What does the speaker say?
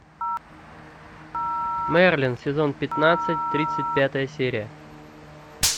мерлин сезон пятнадцать тридцать пятая серия